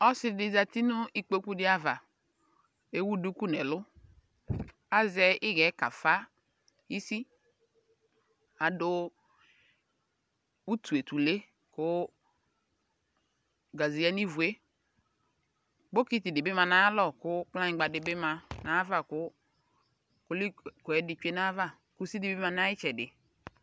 Ɔsɩdɩ zati nʋ ikpooku dɩ ava ,ewu duku n'ɛlʋ Azɛ ɩɣɛ kafa isi Adʋ utuetule kʋ ,gaze yǝ n'ivue ,bokiti dɩ ma n'ayalɔ kʋ kplanyɩgba dɩ bɩ ma n'ayava kʋ kolik kʋɛdɩ ma n'ayava Kusi bɩ ma n'ayɩtsɛdɩ